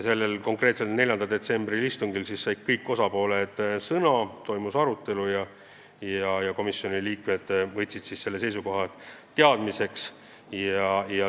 Sellel 4. detsembri istungil said kõik osapooled sõna, toimus arutelu ja komisjoni liikmed võtsid kõik seisukohad teadmiseks.